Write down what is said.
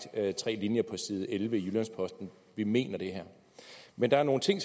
tre linjer på side elleve i jyllands posten vi mener det her men der er nogle ting